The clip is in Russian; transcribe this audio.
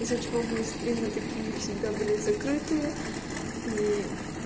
из-за чего мои стримы такие всегда были закрыты и